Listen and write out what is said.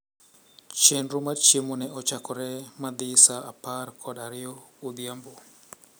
Chenro mar chiemo ne ochakore madhi sa apar kod ariyo odhiambo.